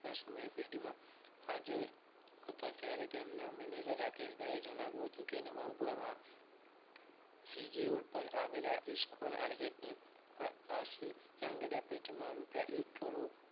ના સમય પેઢીમાં હાજર હતા ત્યારે તેમના manager રાકેશભાઈએ જણાવ્યું હતું કે નવરંગપુરામાં CG રોડ પર આવેલા iskcon arcade ની આશિષ આંગણીયા પેઠી મા એક કરોડ